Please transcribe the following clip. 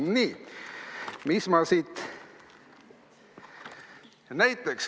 " Nii, mis ma siit veel loen?